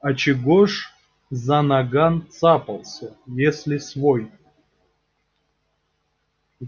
а чего ж за наган цапался если свой